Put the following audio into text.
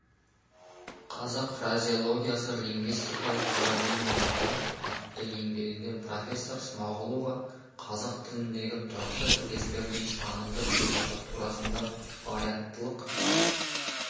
қазақ фразеологиясы лингвистикалық парадигмаларда атты еңбегінде профессор смағұлова қазақ тіліндегі тұрақты тіркестердің танымдық сипаты турасында варианттылық